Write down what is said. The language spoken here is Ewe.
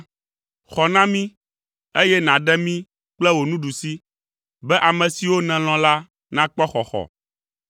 Xɔ na mí, eye nàɖe mí kple wò nuɖusi, be ame siwo nèlɔ̃ la nakpɔ xɔxɔ.